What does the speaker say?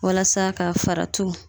Walasa ka faratuw